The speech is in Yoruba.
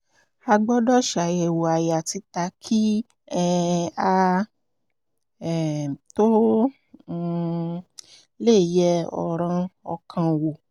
a gbọ́dọ̀ ṣàyẹ̀wò àyà títa kí um a um tó um lè yẹ ọ̀ràn ọkàn wò